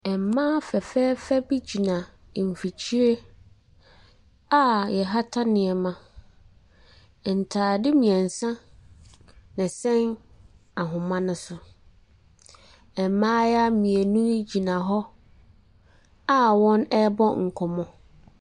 Abrɔfo mmaa bi ne mmɔfra bi ahyia. Oburoni baako baage bɔ n'akyi na ɔrekyea mmofra no nsam. Ɛna mmofra no reseresere. Wɔn anim no, yɛde nkyɛnsee bi asi hɔ a yɛatwerɛtwerɛ so.